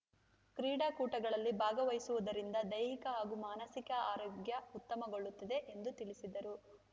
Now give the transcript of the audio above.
ಕ್ರೀಡಾಕೂಟಗಳಲ್ಲಿ ಭಾಗವಹಿಸುವುದರಿಂದ ದೈಹಿಕ ಹಾಗೂ ಮಾನಸಿಕ ಆರೋಗ್ಯಉತ್ತಮಗೊಳ್ಳುತ್ತದೆ ಎಂದು ತಿಳಿಸಿದರು